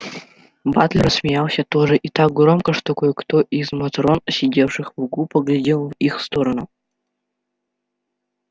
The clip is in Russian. батлер рассмеялся тоже и так громко что кое-кто из матрон сидевших в углу поглядел в их сторону